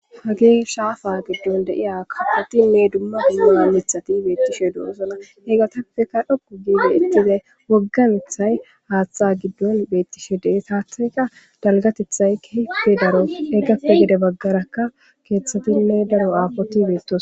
Hagee shaafa giddon de'iya kafotinne dumma dummu mammithati beettishe doosona he gatappeka dhokku giide ittizay woggamethay haaththa giddon beettishe de7e taathayka dalgatethay kehippe daro egappa gede baggarakka keeththatinne daro aafoti beettos